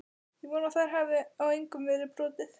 Ég vona að þar hafi á engum verið brotið.